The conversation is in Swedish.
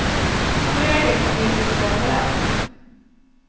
Som regel kom de inte så bra överens.